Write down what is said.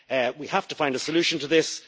We have to find a solution to this